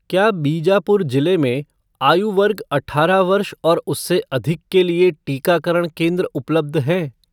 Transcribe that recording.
क्या बीजापुर जिले में आयु वर्ग अठारह वर्ष और उससे अधिक के लिए टीकाकरण केंद्र उपलब्ध हैं?